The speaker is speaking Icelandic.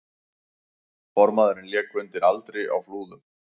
Formaðurinn lék undir aldri á Flúðum